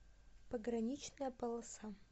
пограничная полоса